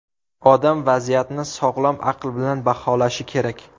Odam vaziyatni sog‘lom aql bilan baholashi kerak.